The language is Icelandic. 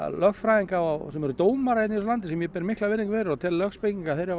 lögfræðinga og dómara í þessu landi sem ég ber mikla virðingu fyrir og tel lögspekinga þeir hafa